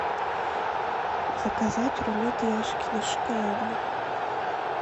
заказать рулет яшкино шоколадный